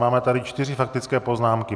Máme tady čtyři faktické poznámky.